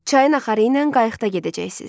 Çayın axarı ilə qayıqda gedəcəksiz.